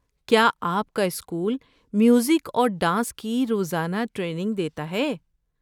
کیا آپ کا اسکول میوزک اور ڈانس کی روزانہ ٹریننگ دیتا ہے؟